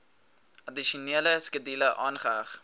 addisionele skedule aangeheg